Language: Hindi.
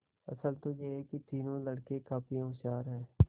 असल तो यह कि तीनों लड़के काफी होशियार हैं